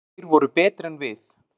Þeir voru betri en við.